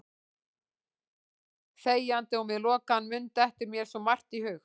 Þegjandi og með lokaðan munn dettur mér svo margt í hug.